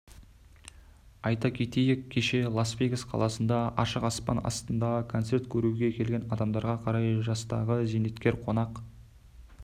айта кетейік кеше ласвегас қаласында ашық аспан астында концерт көруге келген адамдарға қарай жастағы зейнеткер қонақ